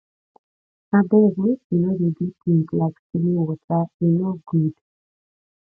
abeg make we no dey do things like stealing water e no good